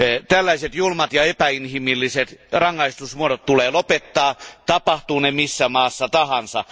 Tällaiset julmat ja epäinhimilliset rangaistusmuodot tulee lopettaa, tapahtuivat ne missä maassa tahansa.